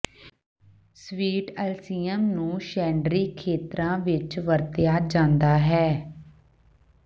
sweet alyssum ਨੂੰ ਸ਼ੈਡਰੀ ਖੇਤਰਾਂ ਵਿਚ ਵਰਤਿਆ ਜਾਂਦਾ ਹੈ